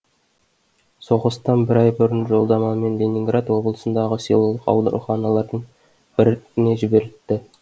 соғыстан бір ай бұрын жолдамамен ленинград облысындағы селолық ауруханалардың біріне жіберілді